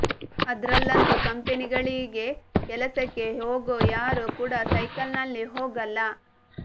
ಅದ್ರಲ್ಲಂತೂ ಕಂಪನಿಗಳಿಗೆ ಕೆಲಸಕ್ಕೆ ಹೋಗೋ ಯಾರೂ ಕೂಡ ಸೈಕಲ್ ನಲ್ಲಿ ಹೋಗಲ್ಲ